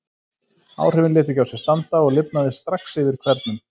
Áhrifin létu ekki á sér standa, og lifnaði strax yfir hvernum.